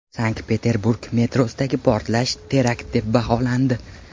Sankt-Peterburg metrosidagi portlash terakt deb baholandi.